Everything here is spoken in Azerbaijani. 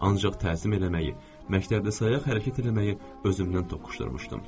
Ancaq təzim eləməyi, məktəbdə sayağa hərəkət eləməyi özümdən toqquşdurmuşdum.